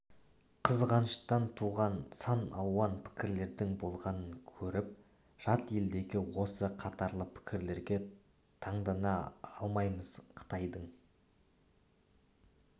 қызғаныштан туған сан алуан пікірлердің болғанын көріп жат елдегі осы қатарлы пікірлерге таңдана алмаймыз қытайдың